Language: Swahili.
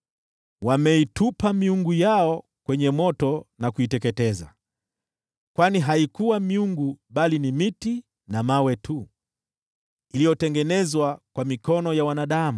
Wameitupa miungu yao kwenye moto na kuiangamiza, kwa kuwa haikuwa miungu, bali miti na mawe tu, iliyotengenezwa kwa mikono ya wanadamu.